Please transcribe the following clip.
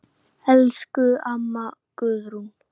Elsku amma Guðrún.